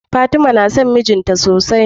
Fatima na son mijinta sosai.